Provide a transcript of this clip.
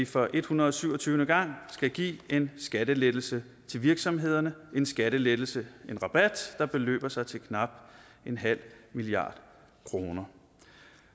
for en hundrede og syv og tyve gang skal give en skattelettelse til virksomhederne en skattelettelse en rabat der beløber sig til knap en halv milliard kroner